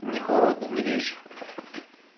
не холодно не вечер